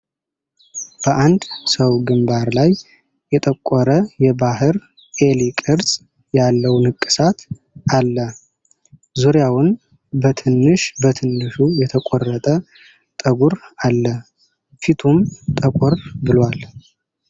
በአንድ ሰው ግንባር ላይ የጠቆረ የባህር ኤሊ ቅርጽ ያለው ንቅሳት አለ። ዙሪያውን በትንሽ በትንሹ የተቆረጠ ጠጉር አለ፣ ፊቱም ጠቆር ብሏል ።